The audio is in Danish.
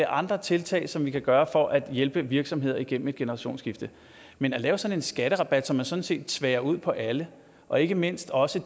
andre tiltag som vi kan gøre for at hjælpe virksomheder igennem et generationsskifte men at lave sådan en skatterabat som man sådan set tværer ud på alle og ikke mindst også